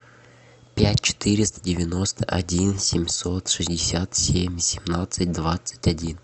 пять четыреста девяносто один семьсот шестьдесят семь семнадцать двадцать один